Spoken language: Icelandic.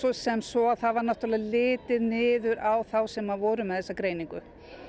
sem svo þá var náttúrulega litið niður á þá sem voru með þessa greiningu